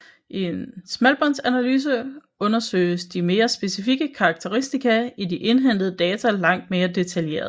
I en smalbåndsanalyse undersøges de mere specifikke karakteristika i de indhentede data langt mere detaljeret